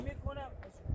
Heç nəmi qanım.